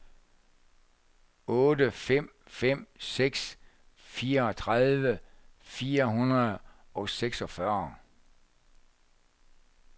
otte fem fem seks fireogtredive fire hundrede og seksogfyrre